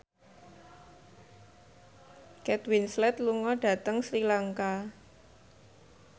Kate Winslet lunga dhateng Sri Lanka